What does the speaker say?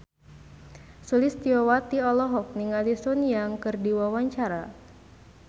Sulistyowati olohok ningali Sun Yang keur diwawancara